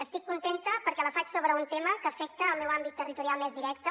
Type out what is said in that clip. estic contenta perquè la faig sobre un tema que afecta el meu àmbit territorial més directe